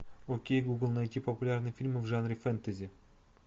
окей гугл найти популярные фильмы в жанре фэнтези